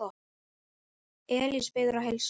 Elías biður að heilsa.